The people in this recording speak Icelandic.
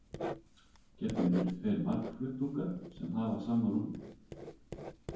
Gefnir eru tveir margflötungar sem hafa sama rúmmál.